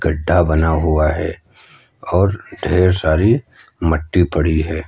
गढ्ढा बना हुआ है और ढेर सारी मट्टी पड़ी है।